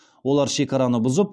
олар шекараны бұзып